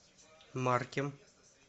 маркем